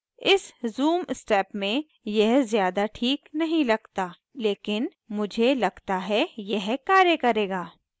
इस zoom step में यह ज़्यादा ठीक नहीं लगता लेकिन मुझे लगता है यह कार्य करेगा